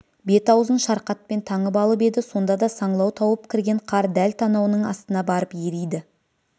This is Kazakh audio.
бет-аузын шарқатпен таңып алып еді сонда да саңлау тауып кірген қар дәл танауының астына барып ериді